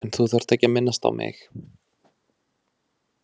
En þú þarft ekkert að minnast á mig.